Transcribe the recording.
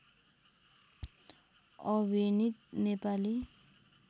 अभिनित Nepali